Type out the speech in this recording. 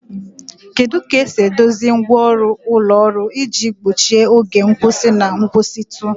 Kedu ka esi edozi ngwa ọrụ ụlọ ọrụ iji gbochie oge nkwụsị na nkwụsịtụ?